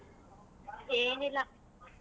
ಏನಿಲ್ಲ.